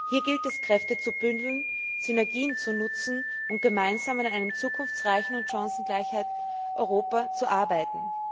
Hier gilt es, Kräfte zu bündeln, Synergien zu nutzen und gemeinsam an einem zukunftsreichen und chancengleichen Europa zu arbeiten.